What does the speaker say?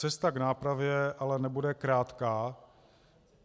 Cesta k nápravě ale nebude krátká.